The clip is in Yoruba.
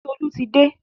Titolú ti dé.